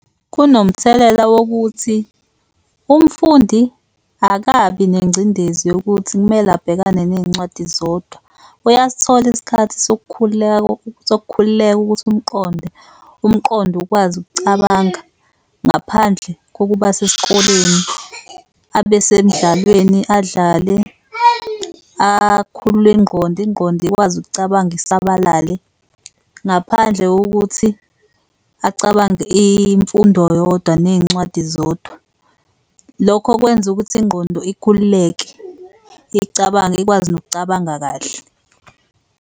Kunomthelela wokuthi umfundi akabi nengcindezi yokuthi kumele abhekane ney'ncwadi zodwa. Uyasithola isikhathi sokukhululeka sokukhululeka ukuthi umqonde, umqondo ukwazi ukucabanga ngaphandle kokuba sesikoleni. Abe semdlalweni, adlale, akhulule ingqondo, ingqondo ikwazi ukucabanga isabalale ngaphandle kokuthi acabange imfundo yodwa ney'ncwadi zodwa. Lokho kwenza ukuthi ingqondo ikhululeke icabange, ikwazi nokucabanga kahle.